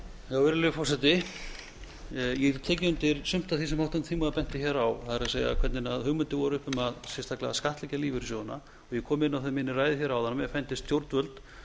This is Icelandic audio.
virðulegi forseti ég get tekið undir sumt af því sem háttvirtur þingmaður benti hér á það er hvernig hugmyndir voru uppi um sérstaklega að skattleggja lífeyrissjóðina ég kom inn á það í minni ræðu hér áðan að mér fyndist stjórnvöld